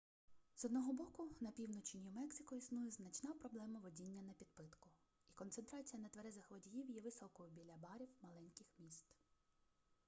з одного боку на півночі нью-мексико існує значна проблема водіння напідпитку і концентрація нетверезих водіїв є високою біля барів маленьких міст